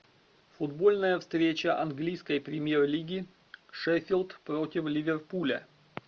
футбольная встреча английской премьер лиги шеффилд против ливерпуля